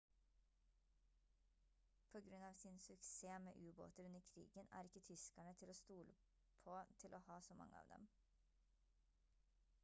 på grunn av sin suksess med ubåter under krigen er ikke tyskerne til å stole på til å ha så mange av dem